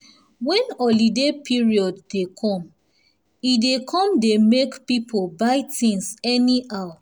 when holiday period dey come e dey come e dey makepoeple buy things anyhow